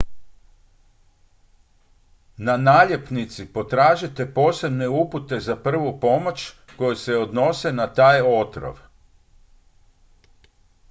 na naljepnici potražite posebne upute za prvu pomoć koje se odnose na taj otrov